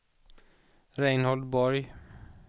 Reinhold Borg